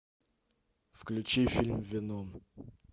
включи фильм веном